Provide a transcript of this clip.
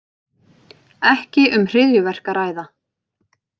Ekki um hryðjuverk að ræða